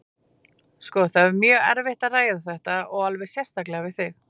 Sko, það er mjög erfitt að ræða þetta, og alveg sérstaklega við þig.